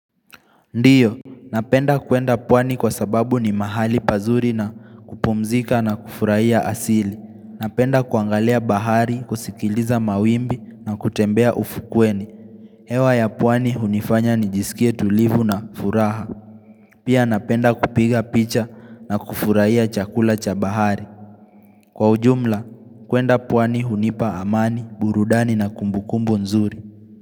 Ndiyo, napenda kuenda pwani kwa sababu ni mahali pazuri na kupumzika na kufurahia asili Napenda kuangalia bahari, kusikiliza mawimbi na kutembea ufukweni. Hewa ya pwani hunifanya ni jisikie tulivu na furaha. Pia napenda kupiga picha na kufurahia chakula cha bahari Kwa ujumla, kuenda pwani hunipa amani, burudani na kumbukumbu nzuri.